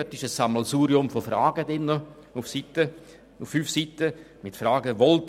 Er beinhaltet auf fünf Seiten ein Sammelsurium von Fragen wie: